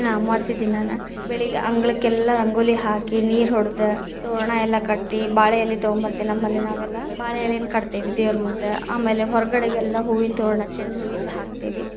ಅಮವಾಸ್ಯ ದಿನಾನ ಬೆಳಗ್ಗೆ ಅಂಗಳಕ್ಕೆಲ್ಲಾ ರಂಗೋಲಿ ಹಾಕಿ, ನೀರ ಹೊಡದ, ತೋರಣ ಎಲ್ಲಾ ಕಟ್ಟಿ, ಬಾಳೆಎಲೆ ತಗೊಂಬತೇ೯ವಿ ನಮ್ಮಲ್ಲಿ ನಾವೆಲ್ಲಾ, ಬಾಳೆ ಎಲೆನ ಕಟ್ಟತೇವಿ ದೇವ್ರಮುಂದ ಆಮೇಲೆ, ಹೊರಗಡೆಗೆಲ್ಲಾ ಹೂವಿನ ತೋರಣ ಚೆಂಡ ಹೂವಿಂದ ಹಾಕ್ತೇವಿ.